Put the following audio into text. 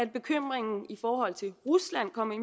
bekymringen i forhold til rusland kom ind